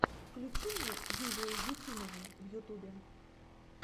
включи мне юлию ефимову в ютубе